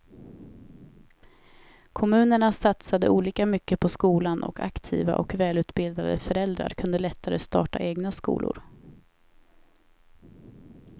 Kommunerna satsade olika mycket på skolan och aktiva och välutbildade föräldrar kunde lättare starta egna skolor.